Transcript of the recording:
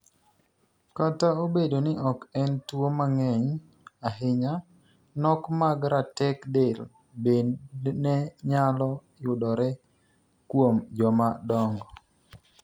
Kat obedo ni ok en tuo mang'eny ahinya, nok mag ratek del bednde nyalo yudore kuom joma dongo.